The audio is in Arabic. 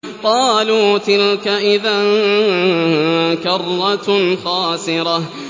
قَالُوا تِلْكَ إِذًا كَرَّةٌ خَاسِرَةٌ